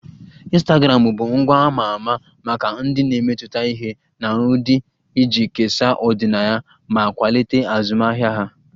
Ịnstagramụ bụ ngwa a ma ama maka ndị na-emetụta ihe na ụdị iji kesaa ọdịnaya ma kwalite azụmahịa ha